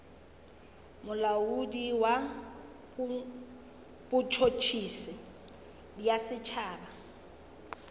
molaodi wa botšhotšhisi bja setšhaba